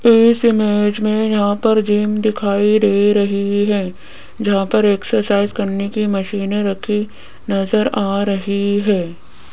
इस इमेज में यहां पर जिम दिखाई दे रही है जहां पर एक्सरसाइज करने की मशीनें रखी नजर आ रही है।